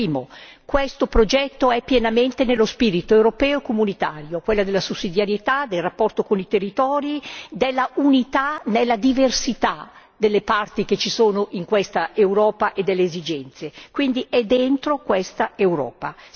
Primo questo progetto è pienamente nello spirito europeo e comunitario, quello della sussidiarietà, del rapporto con i territori, dell'unità nella diversità delle parti che ci sono in questa Europa e delle esigenze, quindi è dentro questa Europa.